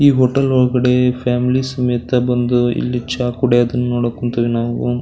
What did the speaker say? ಈ ಹೋಟೆಲ್ ಒಳಗಡೆ ಫ್ಯಾಮಿಲಿ ಸಮೇತ ಬಂದು ಇಲ್ಲಿ ಚಾ ಕುಡಿಯೋದನ್ನ ನೋಡೋಕ್ ಹೊಂತಿವಿ ನಾವು.